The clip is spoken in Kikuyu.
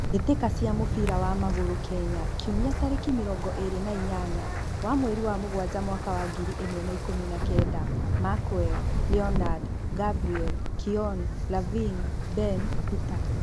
Mbitika cia mũbira wa magũrũ Kenya kiumia tarĩki mĩrongo ĩrĩ na inyanya wa mweri wa mũgwanja mwaka wa ngiri ĩmwe wa ikũmi na kenda: Mackwell, Leonard, Gabriel, Keon, Lavin, Ben, Peter